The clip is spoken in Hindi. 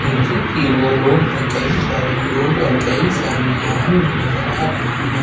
नीचे की ओर रोड में कई सारे लोग और कई सारी वाहन भी नजर आ रहे हैं।